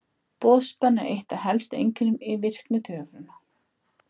Boðspenna er eitt af helstu einkennum í virkni taugafrumna.